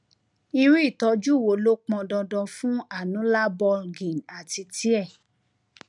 irú ìtọjú wo ló pọn dandan fún annular bulging àti [c] tear